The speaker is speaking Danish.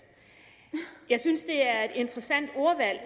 jeg synes det er et interessant ordvalg